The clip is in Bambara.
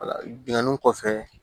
wala binkanni kɔfɛ